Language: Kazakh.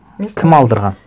кім алдырған